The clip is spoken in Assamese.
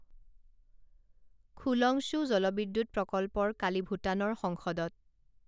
খোলংশ্বু জলবিদ্যুৎ প্ৰকল্পৰ কালি ভূটানৰ সংসদত